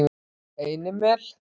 Einimel